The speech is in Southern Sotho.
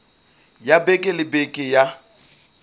ya beke le beke ya